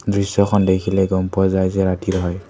দৃশ্যখন দেখিলেই গ'ম পোৱা যায় যে ৰাতিৰ হয়।